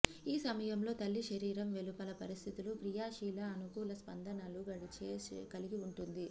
ఈ సమయంలో తల్లి శరీరం వెలుపల పరిస్థితులు క్రియాశీల అనుకూల స్పందనలు గడిచే కలిగి ఉంటుంది